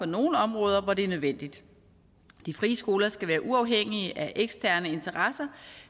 nogle områder hvor det er nødvendigt de frie skoler skal være uafhængige af eksterne interesser